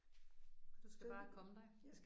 Og du skal bare komme dig